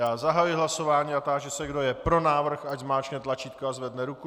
Já zahajuji hlasování a táži se, kdo je pro návrh, ať zmáčkne tlačítko a zvedne ruku.